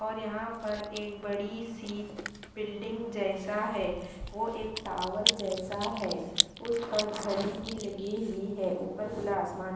और यहाँ पर एक बड़ी सी बिल्डिंग जैसा है वो एक टावर जैसा है उस पर घड़ी भी लगी हुई है ऊपर खुला आसमान --